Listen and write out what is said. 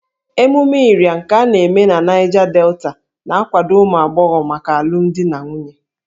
Ememe Ịrịa nke a na-eme na Niger Delta na-akwado ụmụ agbọghọ maka alụmdi na nwunye